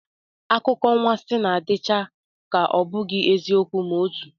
Akụkọanwansị na-adịcha ka ọ bụghị eziokwu ma otu